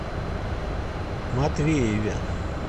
матвееве